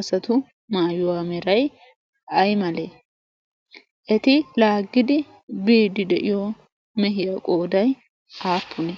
asatu maayuwaa merai ai malee eti laaggidi biidi de'iyo mehiyaa qooday aappune?